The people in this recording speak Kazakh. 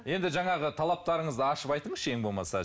енді жаңағы талаптарыңызды ашып айтыңызшы ең болмаса